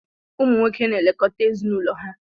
Ụmụ nwoke na-elekọta ezinụlọ ha.